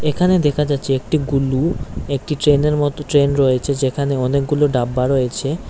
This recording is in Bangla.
এখানে দেখা যাচ্ছে একটি গুল্লু একটি ট্রেনের মতো ট্রেন রয়েছে যেখানে অনেকগুলো ডাব্বা রয়েছে।